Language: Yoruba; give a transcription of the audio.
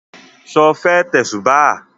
Sọ fẹ́ tẹ̀sùbáà?